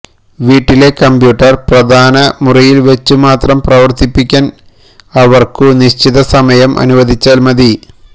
വീട്ടിലെ കംപ്യൂട്ടർ പ്രധാന മുറിയിൽ വച്ചു മാത്രം പ്രവർത്തിപ്പിക്കാൻ അവർക്കു നിശ്ചിത സമയം അനുവദിച്ചാൽ മതി